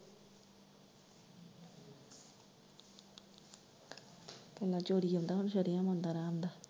ਪਹਿਲਾਂ ਚੋਰੀ ਆਉਂਦਾ, ਹੁਣ ਸਰਿਆਮ ਆਉਂਦਾ ਹਰਾਮਦਾ।